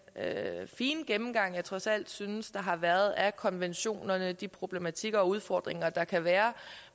fine gennemgang jeg trods alt synes der har været af konventionerne og de problematikker og udfordringer der kan være